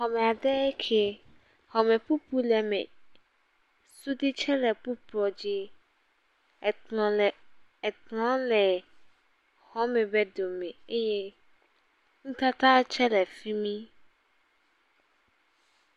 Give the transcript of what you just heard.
Xɔme ɖee ke, xɔme ƒuƒlu le eme suɖui tse le kpokpo dzi ekplɔ le…ekplɔ le xɔme ƒe dome eye nutata tse le fi mi.